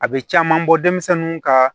A bɛ caman bɔ denmisɛnninw ka